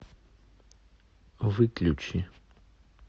выключи